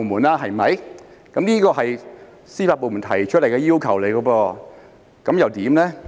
修例是司法部門提出的要求，他們有何看法呢？